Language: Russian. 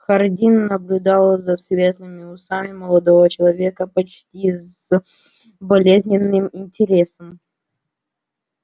хардин наблюдал за светлыми усами молодого человека почти с болезненным интересом